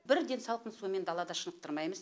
бірден салқын сумен далада шынықтырмаймыз